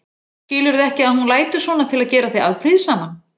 Skilurðu ekki að hún lætur svona til að gera þig afbrýðisaman?